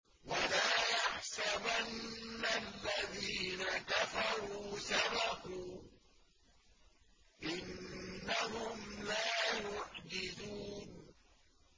وَلَا يَحْسَبَنَّ الَّذِينَ كَفَرُوا سَبَقُوا ۚ إِنَّهُمْ لَا يُعْجِزُونَ